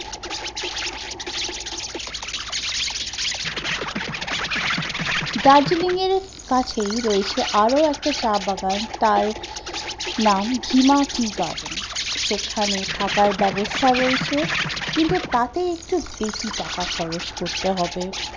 দার্জেলিং এর কাছেই রয়েছে আরো একটা চা বাগান, তার নাম হিমা টিকার, সেখানে থাকার ব্যবস্থা রয়েছে, কিন্তু তাতে একটু বেশি টাকা খরচ করতে হবে